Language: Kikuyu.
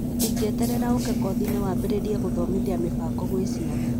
tũtingĩeterera ũũke kothiinĩ, wambĩrĩrie gũthomithia mũbango gwĩ ciana